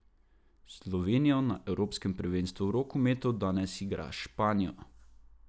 Slovenijo na evropskem prvenstvu v rokometu danes igra s Španijo.